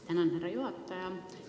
Tänan, härra juhataja!